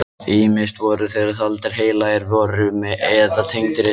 Ýmist voru þeir taldir heilagar verur eða tengdir illum öflum.